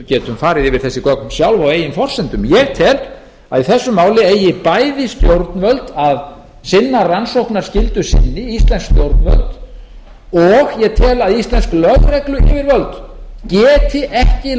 getum farið yfir þessi gögn sjálf á eigin forsendum ég tel að í þessu máli eigi bæði stjórnvöld að sinna rannsóknarskyldu sinni íslensk stjórnvöld og ég tel að íslensk lögregluyfirvöld geti ekki